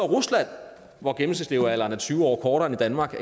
rusland hvor gennemsnitslevealderen er tyve år kortere end i danmark